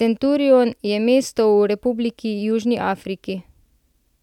Centurion je mesto v Republiki Južni Afriki.